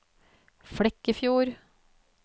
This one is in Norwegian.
Flekkefjord